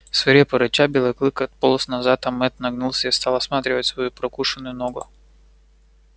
свирепо рыча белый клык отполз назад а мэтт нагнулся и стал осматривать свою прокушенную ногу